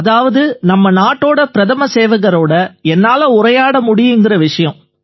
அதாவது நம்ம நாட்டோட பிரதம சேவகரோட என்னால உரையாட முடியுதுங்கற விஷயம்